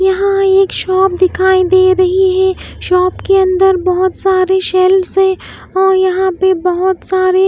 यहां एक शॉप दिखाई दे रही है शॉप के अंदर बहुत सारे शेल्व्स हैं और यहां पे बहुत सारे--